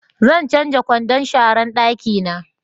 Zan canja kwandon sharan dakina